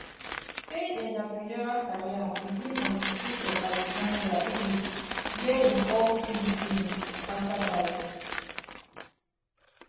fayed entrepreneurial career begin on di streets of alexandria egypt wia im hawk fizzy drinks to passersby